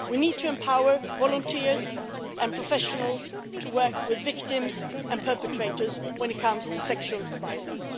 We need to empower volunteers and professionals to work with victims and perpetrators when it comes to sexual violence.